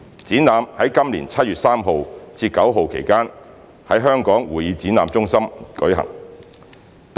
展覽在今年7月3日至9日期間在香港會議展覽中心舉行。